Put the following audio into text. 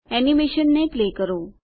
એનીમેશનને play કરો